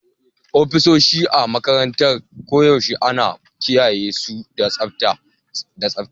Ofisoshi a makarantara koyaushe ana kiyaye su da tsabta da tsabta